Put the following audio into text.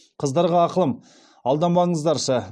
қыздарға ақылым алданбаңыздаршы